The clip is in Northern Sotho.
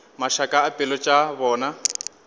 mašaka a pelo tša bona